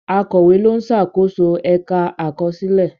Akọ̀wé ló ń ṣàkóso ẹ̀ka àkọsílẹ̀.